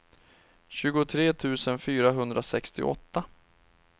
tjugotre tusen fyrahundrasextioåtta